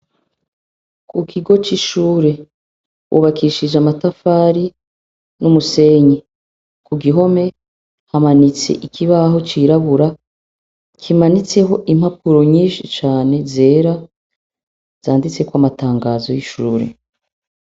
ku kigo cy'ishure wubakishije amatafari n'umusenyi ku gihome hamanitse ikibaho cyirabura kimanitseho impapuro nyinshi cane zera zanditseko amatangazo y'ishure.